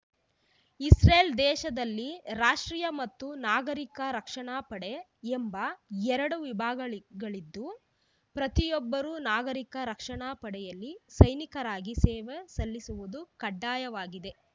Israel ದೇಶದಲ್ಲಿ ರಾಷ್ಟೀಯ ಮತ್ತು ನಾಗರೀಕ ರಕ್ಷಣಾ ಪಡೆ ಎಂಬ ಎರಡು ವಿಭಾಗಗಳಿದ್ದು ಪ್ರತಿಯೊಬ್ಬರೂ ನಾಗರೀಕ ರಕ್ಷಣಾ ಪಡೆಯಲ್ಲಿ ಸೈನಿಕರಾಗಿ ಸೇವೆ ಸಲ್ಲಿಸುವುದು ಕಡ್ಡಾಯವಾಗಿದೆ